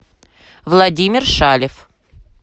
владимир шалев